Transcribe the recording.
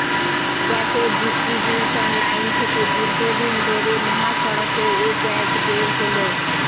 গ্যাসের distribution line থেকে দীর্ঘদিন ধরে মহাসড়কে এ গ্যাস বের হলেও